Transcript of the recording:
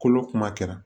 Kolo kuma kɛra